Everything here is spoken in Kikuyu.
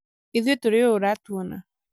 ithũĩ tũrĩ ũũ ũratũona